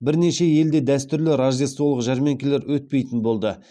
бірнеше елде дәстүрлі рождестволық жәрмеңкелер өтпейтін болды